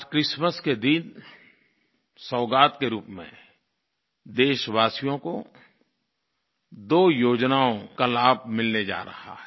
आज क्रिसमस के दिन सौगात के रूप में देशवासियों को दो योजनाओं का लाभ मिलने जा रहा है